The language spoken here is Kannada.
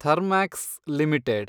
ಥರ್ಮ್ಯಾಕ್ಸ್ ಲಿಮಿಟೆಡ್